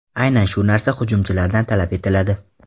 Aynan shu narsa hujumchilardan talab etiladi.